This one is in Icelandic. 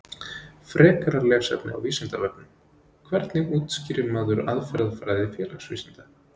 Frekara lesefni á Vísindavefnum: Hvernig útskýrir maður aðferðafræði félagsvísinda?